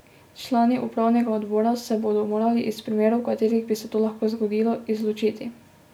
Člani upravnega odbora se bodo morali iz primerov, v katerih bi se to lahko zgodilo, izločiti.